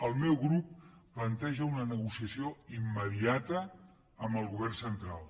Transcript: el meu grup planteja una negociació immediata amb el govern central